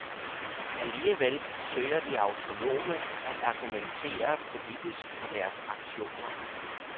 Alligevel søger de autonome at argumentere politisk for deres aktioner.